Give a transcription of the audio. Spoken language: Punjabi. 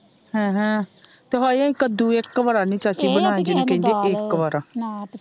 ਹਮਹ ਦੋਹਾਈ ਅਹਿ ਕੱਦੂ ਇੱਕ ਬਾਰ ਨੀ ਚਾਚੀ ਬਣਾਇਆ ਜਿਨੂੰ ਕਹਿੰਦੇ ਇੱਕ ਬਾਰ,